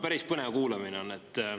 Päris põnev kuulamine on.